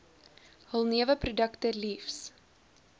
hul neweprodukte liefs